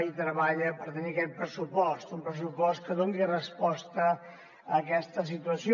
i treballa per tenir aquest pressupost un pressupost que doni resposta a aquesta situació